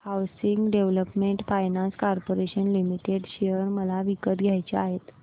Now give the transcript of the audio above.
housing development finance corporation limited share मला विकत घ्यायचे आहेत